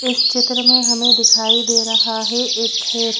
इस चित्र में हमें दिखाई दे रहा है एक खेत--